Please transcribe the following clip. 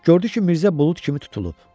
Gördü ki, Mirzə bulud kimi tutulub.